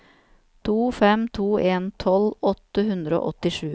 to fem to en tolv åtte hundre og åttisju